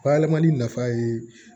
Bayɛlɛmani nafa ye